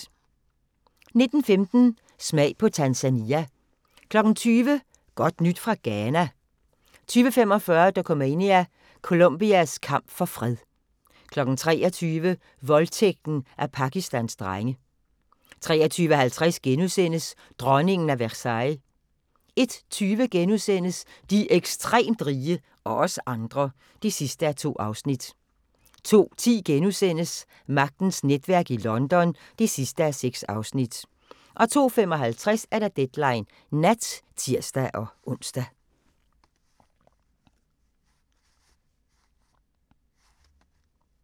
19:15: Smag på Tanzania 20:00: Godt nyt fra Ghana? 20:45: Dokumania: Colombias kamp for fred 23:00: Voldtægten af Pakistans drenge 23:50: Dronningen af Versailles * 01:20: De ekstremt rige – og os andre (2:2)* 02:10: Magtens netværk i London (6:6)* 02:55: Deadline Nat (tir-ons)